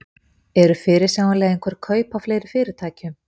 Eru fyrirsjáanleg einhver kaup á fleiri fyrirtækjum?